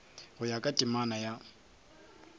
go ya ka temana ya